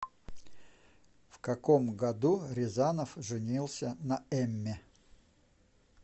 в каком году рязанов женился на эмме